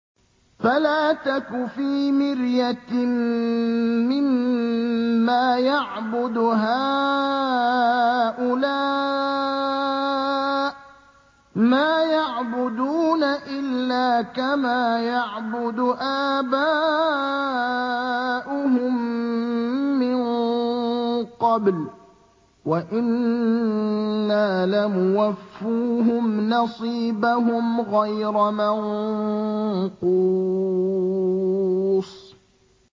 فَلَا تَكُ فِي مِرْيَةٍ مِّمَّا يَعْبُدُ هَٰؤُلَاءِ ۚ مَا يَعْبُدُونَ إِلَّا كَمَا يَعْبُدُ آبَاؤُهُم مِّن قَبْلُ ۚ وَإِنَّا لَمُوَفُّوهُمْ نَصِيبَهُمْ غَيْرَ مَنقُوصٍ